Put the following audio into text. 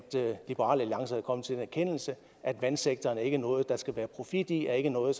liberal alliance er kommet til den erkendelse at vandsektoren ikke er noget der skal være profit i og ikke er noget